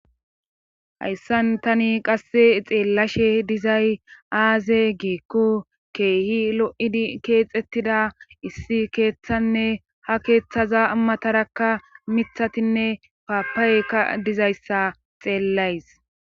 hayssan tani qasse xeellashe dizay aaze geekku keehi lo7id keexettida issi keeththanne ha keeththaza ammatarakka mithatinne paapaweka dizayssa xeellays